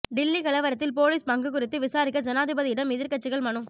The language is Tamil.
டில்லி கலவரத்தில் போலீஸ் பங்கு குறித்து விசாரிக்க ஜனாதிபதியிடம் எதிர்க்கட்சிகள் மனு